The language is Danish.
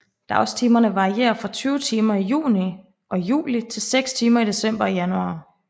Dagstimerne varierer fra 20 timer i juni og juli til 6 timer i december og januar